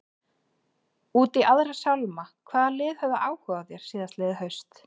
Út í aðra sálma, hvaða lið höfðu áhuga á þér síðastliðið haust?